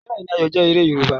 Bẹẹni, Ayọ jẹ̀ èrè Yorùbá.